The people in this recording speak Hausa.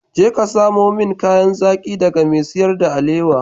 Je ka samo min kayan zaki daga mai siyar da alewa.